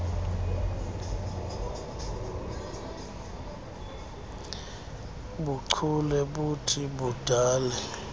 buchule buthi budale